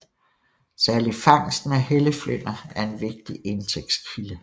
Særlig fangsten af helleflynder er en vigtig indtægtskilde